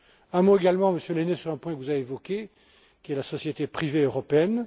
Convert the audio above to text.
Un mot également, Monsieur Lehne, sur un point que vous avez évoqué, qui est la société privée européenne.